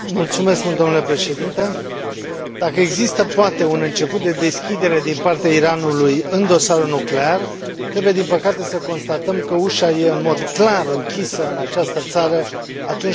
Dacă există, poate, un început de deschidere din partea Iranului în dosarul nuclear, trebuie, din păcate, să constatăm că ușa e în mod clar închisă, în această țară, atunci când este vorba despre drepturile omului.